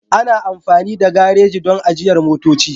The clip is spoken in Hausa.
Ana amfani da gareji don ajiyar motoci.